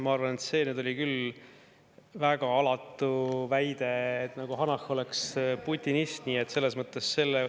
Ma arvan, et see oli nüüd küll väga alatu väide, nagu Hanah oleks putinist.